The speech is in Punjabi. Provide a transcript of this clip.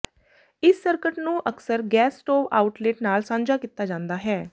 ਇਸ ਸਰਕਟ ਨੂੰ ਅਕਸਰ ਗੈਸ ਸਟੋਵ ਆਊਟਲੇਟ ਨਾਲ ਸਾਂਝਾ ਕੀਤਾ ਜਾਂਦਾ ਹੈ